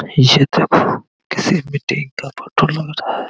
ये देखो किसी मीटिंग का फोटो लग रह है ।